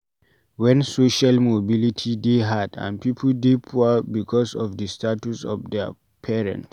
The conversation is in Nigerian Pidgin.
When social mobility dey hard and pipo dey poor because of di status of their parent